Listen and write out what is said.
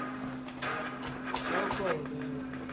હવ કોઈ વોધો નહિ ઓય તો.